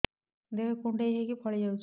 ଦେହ କୁଣ୍ଡେଇ ହେଇକି ଫଳି ଯାଉଛି